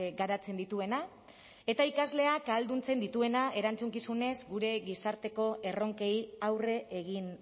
garatzen dituena eta irakasleak ahalduntzen dituena erantzukizunez gure gizarteko erronkei aurre egin